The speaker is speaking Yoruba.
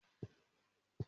Mà á nu fáànù ìdúró nù.